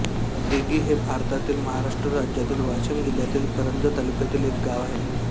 दिघी हे भारतातील महाराष्ट्र राज्यातील वाशिम जिल्ह्यातील कारंजा तालुक्यातील एक गाव आहे